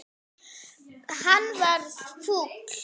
Hann varð fúll.